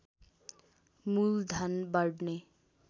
मूल धन बढ्ने